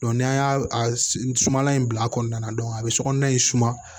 n'an y'a sumala in bila a kɔnɔna na a bɛ sokɔnɔna in suma